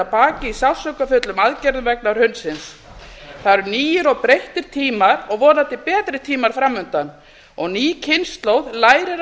baki í sársaukafullum aðgerðum vegna hrunsins það eru nýir og breyttir tímar og vonandi betri tímar framundan ný kynslóð lærir af